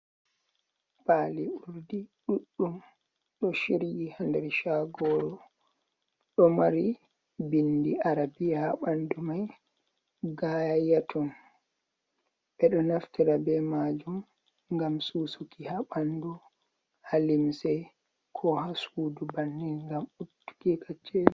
"Pali urdi" ɗudɗum ɗo shiryi ha nder shagoro ɗo mari bindi arabia ha ɓandu mai gayatun ɓe ɗo naftira be majum ngam susuki ha ɓandu ha limsei ko ha sudu bannin ngam ittu go kacceli.